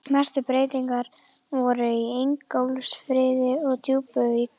Mestu breytingarnar voru í Ingólfsfirði og Djúpuvík.